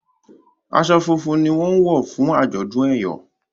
aṣọ funfun ní wón wọ fún ajọdun eyọ